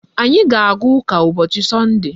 Anyị ga-aga ụka ụbọchị sọnde